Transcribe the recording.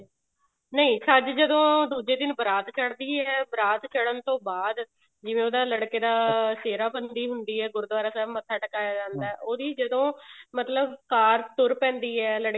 ਨਹੀਂ ਛੱਜ ਜਦੋਂ ਦੁੱਜੇ ਦਿਨ ਬਾਰਾਤ ਚੜਦੀ ਹੈ ਬਾਰਾਤ ਚੜਨ ਤੋਂ ਬਾਅਦ ਜਿਵੇਂ ਉਹਦਾ ਲੜਕੇ ਦਾ ਸਿਹਰਾ ਬੰਦੀ ਹੁੰਦੀ ਹੈ ਗੁਰਦਵਾਰਾ ਸਾਹਿਬ ਮੱਥਾ ਟਿਕਾਇਆ ਜਾਂਦਾ ਹੈ ਉਹਦੀ ਮਤਲਬ ਜਦੋਂ ਕਾਰ ਤੁਰ ਪੈਂਦੀ ਹੈ